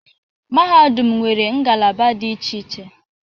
Mahadum nwere ngalaba dị iche iche.